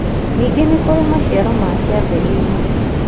Ningĩ nĩ kũrĩ maciaro ma kĩambĩrĩria